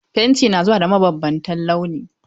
Fenti na zuwa da mabambantan launi.